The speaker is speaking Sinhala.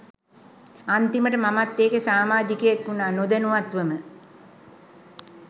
අන්තිමට මමත් ඒකෙ සාමාජිකයෙක් උනා නොදැනුවත්වම.